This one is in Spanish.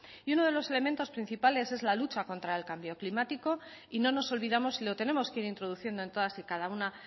y uno de los elementos principales es la lucha contra el cambio climático y no nos olvidamos y lo tenemos que ir introduciendo en todas y cada una